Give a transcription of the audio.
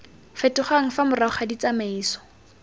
fetogang fa morago ga ditsamaiso